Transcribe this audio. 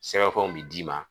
Sɛbɛnfɛnw be d'i ma